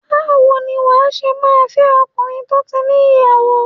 Báwo ni wà á ṣe máa fẹ́ ọkùnrin tó ti ní ìyàwó?